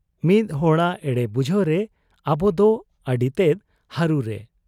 ᱢᱤᱫ ᱦᱚᱲᱟᱜ ᱮᱲᱮ ᱵᱩᱡᱷᱟᱹᱣ ᱨᱮ ᱟᱵᱚᱫᱚ ᱟᱹᱰᱤᱛᱮᱫ ᱦᱟᱹᱨᱩᱨᱮ ᱾